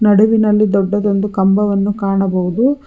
ನಡುವಿನಲ್ಲಿ ದೊಡ್ಡ ದೊಡ್ಡ ಕಂಬವನ್ನು ಕಾಣಬಹುದು.